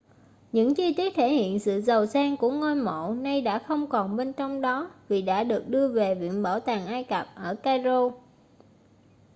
những chi tiết thể hiện sự giàu sang của ngôi mộ nay đã không còn bên trong đó vì đã được đưa về viện bảo tàng ai cập ở cairo